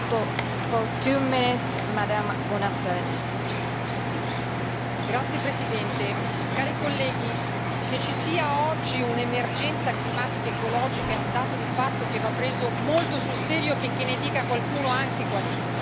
Signora Presidente, cari colleghi, che ci sia oggi un'emergenza climatica ed ecologica è un dato di fatto che va preso molto sul serio, checché ne dica qualcuno anche qua dentro.